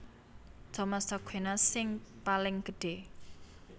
Thomas Aquinas sing paling gedhé